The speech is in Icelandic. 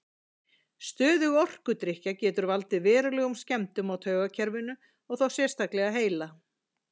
Stöðug ofdrykkja getur valdið verulegum skemmdum á taugakerfinu og þá sérstaklega heila.